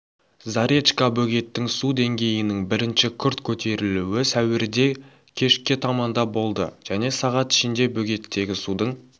заречка бөгеттің су деңгейінің бірінші күрт көтерілуі сәуірде кешке таманда болды және сағат ішінде бөгеттегі судың